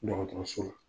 Dɔgɔtɔrɔso la